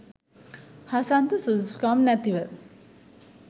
හසන්ත සුදුසුකම් නැතිව